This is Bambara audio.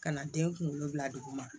Ka na den kunkolo bila duguma